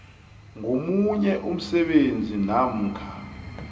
ngomunye umsebenzi namkha